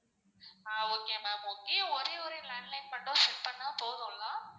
ஆஹ் okay ma'am okay ஒரே ஒரு landline மட்டும் set பண்ணா போதுல்லா?